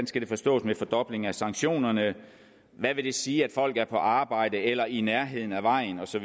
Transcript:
skal forstås med fordobling af sanktionerne hvad vil det sige at folk er på arbejde eller i nærheden af vejen og så